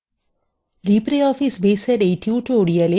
libreoffice baseএর এই tutorialএ আপনাদের স্বাগত